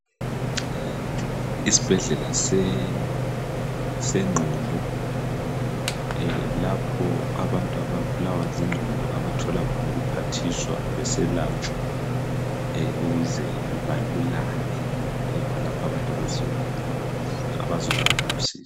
Isbhedlela sengqondo lapho abantu ababulawa zingqondo abathola khona ukuphathiswa beselatshwa ukuze balulame, yikho lapho abantu abazuza khon' usizo.